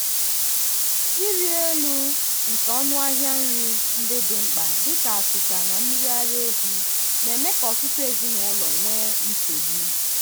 ịrị elu nke ọnụahịa nri ndị dị mkpa dị ka achịcha na mmiri ara ehi na-eme ka ọtụtụ ezinụlọ nwee nchegbu